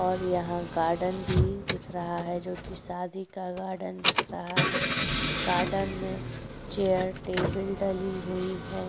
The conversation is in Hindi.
और यहां गार्डन भी दिख रहा है जो कि शादी का गार्डन दिख रहा है। गार्डन में चेयर टेबल डली हुई है।